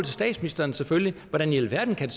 statsministeren selvfølgelig hvordan i alverden kan